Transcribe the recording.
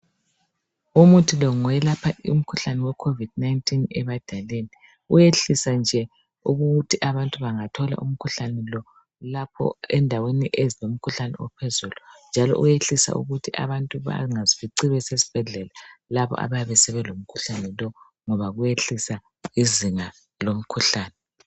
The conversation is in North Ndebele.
Umuthi lo ngoyelapha umkhuhlane we COVID 19 ebadaleni. Uyehlisa nje ukuthi abantu bangathola umkhuhlane lo lapho endaweni ezilomkhuhlane ophezulu njalo uyehlisa ukuthi abantu bangazifici basesibhedlela labo abayabe sebelomkhuhlane lo ngoba uyehlisa izinga lomkhuhlane.